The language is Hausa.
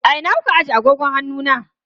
A ina kuka ajiye agogon hannu na?